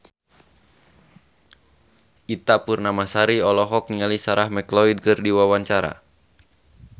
Ita Purnamasari olohok ningali Sarah McLeod keur diwawancara